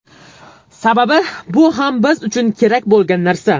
Sababi, bu ham biz uchun kerak bo‘lgan narsa.